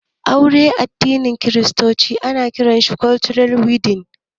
Auren addinin kiristoci shi ake kira 'Church wedding'